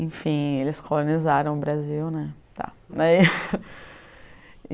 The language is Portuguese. Enfim, eles colonizaram o Brasil né tá.